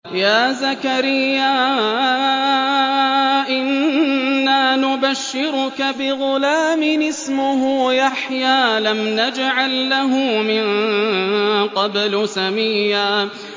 يَا زَكَرِيَّا إِنَّا نُبَشِّرُكَ بِغُلَامٍ اسْمُهُ يَحْيَىٰ لَمْ نَجْعَل لَّهُ مِن قَبْلُ سَمِيًّا